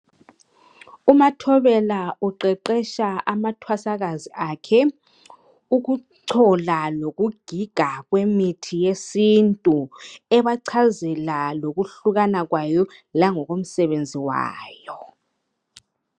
Umathobela uqeqetsha amathwasakazi akhe ukuchola lokugiga kwemithi yesintu ebachazela lokuhlukana kwayo langoko msebenzi wayo.